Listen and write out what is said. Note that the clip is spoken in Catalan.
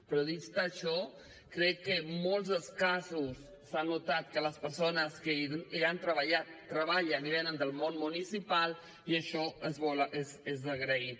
però dit això crec que en molts dels casos s’ha notat que les persones que hi han treballat treballen i venen del món municipal i això és d’agrair